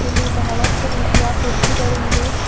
ಇಲ್ಲಿ ಬಹಳಷ್ಟು ರೀತಿಯ ಕುರ್ಚಿಗಳು ಇವೆ.